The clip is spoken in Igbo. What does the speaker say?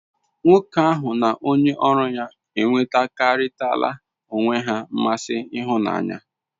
Nwoke ahu n'onye oru ha n'enwegharitara onwe he nmasi ihunanya